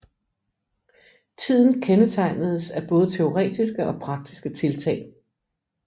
Tiden kendetegnedes af både teoretiske og praktiske tiltag